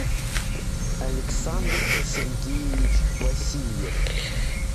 александр сергеевич васильев